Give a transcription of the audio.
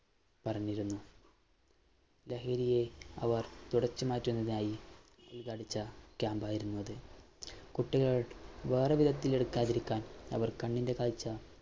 പറഞ്ഞിരുന്നു ലഹരിയെ അവര്‍ തുടച്ചു മാറ്റുന്നതിനായി ക്യാമ്പായിരുന്നു അത്. കുട്ടികള്‍ വേറെ വിധത്തില്‍ എടുക്കാതിരിക്കാന്‍ അവര്‍ കണ്ണിന്‍റെ കാഴ്ച